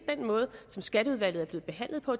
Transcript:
med den måde skatteudvalget er blevet behandlet på